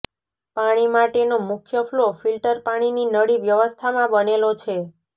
પાણી માટેનો મુખ્ય ફ્લો ફિલ્ટર પાણીની નળી વ્યવસ્થામાં બનેલો છે